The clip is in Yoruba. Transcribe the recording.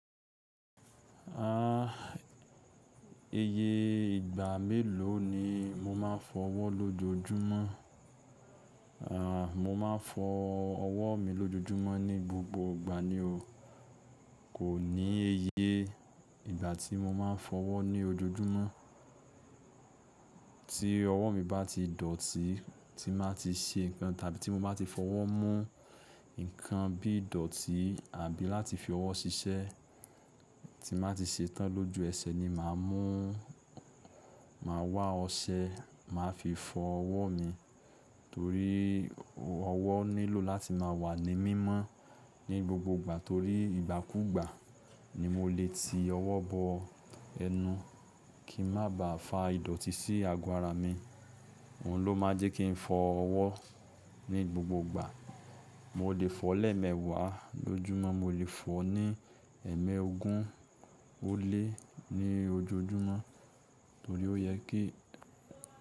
A!, Iye ìgbà mélòó ni o máa ń fọ ọwọ́ lójoojúmọ́? Ah, mo máa ń fọ. Ọwọ́ mi lójoojúmọ́ ní gbogbo ìgbà ni o. Kò ní ẹyẹ ìgbà tí mo máa ń fọ ọwọ́ ní ojoojúmọ́. Tí ọwọ́ mi bá ti dọ̀tí, tí máa ti ṣe nǹkan tàbí tí mo bá ti fọwọ́ mú. Nǹkan bí i dọ̀tí àbí láti fi ọwọ́ ṣiṣẹ́ tí máa ti ṣetán lójú ẹsẹ̀ ni màá mú, màá wá ọṣẹ, màá fi fọ ọwọ́ mi. Torí ọwọ́ nílò láti máa wà ní mímọ́ ní gbogbo ìgbà torí ìgbàkúgbà ni mo lè ti ọwọ́ bọ ẹnu kí n má ba à fa ìdọ̀tí sí ago ara mi. Òhun ló má jẹ́ kí n fọ ọwọ́ ní gbogbo ìgbà. Mo lè fọ lẹ́ẹ̀mẹwàá lójúmọ́, mo lè fọ ní ẹ̀ẹ́mẹogún ó lé ní ojoojúmọ́ torí ó yẹ kí.